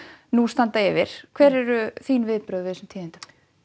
nú standa yfir hver eru þín viðbrögð við þessum tíðindum